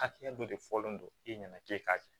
Hakɛya dɔ de fɔlen don e ɲɛna k'e k'a kɛ